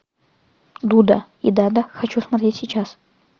дуда и дада хочу смотреть сейчас